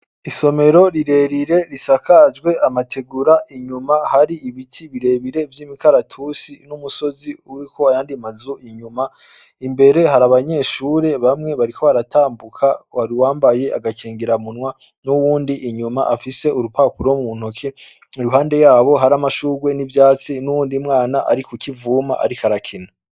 Isomero rirerire risakajwe amategura inyuma hari ibiti birebire vy'imikaratusi n'umusozi uriko ayandi mazu inyuma imbere hari abanyeshure bamwe bariko baratambuka hari uwambaye agakingira munwa n'uwundi inyuma afise urupapuro muntoke iruhande yabo haramashugwe n'ivyatsi n'uwundi mwana arikukivuma ariko arakina.